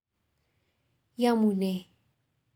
Iamune?